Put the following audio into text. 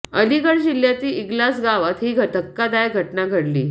अलीगड जिल्ह्यातील इगलास गावात ही धक्कादायक घटना घडली